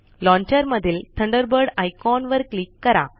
launcher मधीलThunderbird icon वर click करा